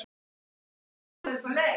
Svona, svona